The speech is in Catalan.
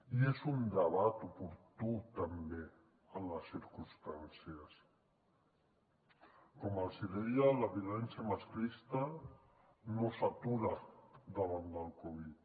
i és un debat oportú també en les circumstàncies com els deia la violència masclista no s’atura davant del covid